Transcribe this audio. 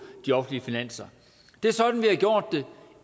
de offentlige finanser det er sådan vi har gjort det